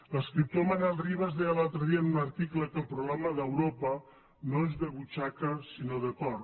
l’escriptor manuel rivas deia l’altre dia en un article que el problema d’europa no és de butxaca sinó de cor